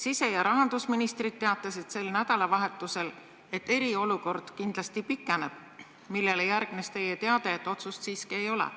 Sise- ja rahandusminister teatasid sel nädalavahetusel, et eriolukord kindlasti pikeneb, sellele järgnes aga teie teade, et otsust siiski ei ole.